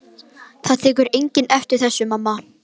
Það tekur enginn eftir þessu, mamma.